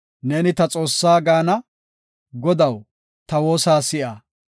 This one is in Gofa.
Godaa, “Neeni ta Xoossaa” gaana; Godaw, ta woosa si7a.